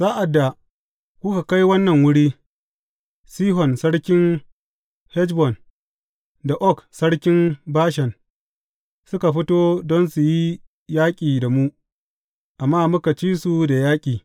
Sa’ad da kuka kai wannan wuri, Sihon sarkin Heshbon, da Og sarkin Bashan, suka fito don su yi yaƙi da mu, amma muka ci su da yaƙi.